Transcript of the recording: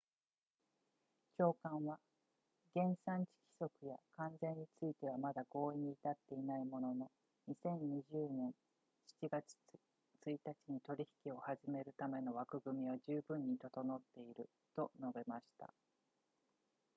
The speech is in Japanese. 長官は原産地規則や関税についてはまだ合意に至っていないものの2020年7月1日に取引を始めるための枠組みは十分に整っていると述べました